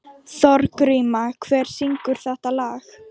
Þorgríma, hver syngur þetta lag?